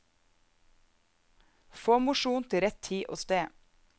Få mosjon til rett tid og sted.